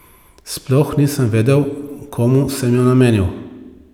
Sploh nisem vedel, komu sem jo namenil.